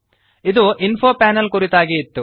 ಇದು info panel ಕುರಿತಾಗಿ ಇತ್ತು